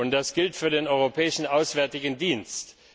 Das gilt für den Europäischen Auswärtigen Dienst.